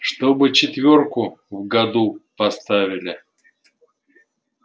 чтобы четвёрку в году поставили